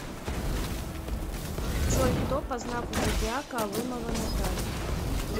джой кто по знаку зодиака алымова наталья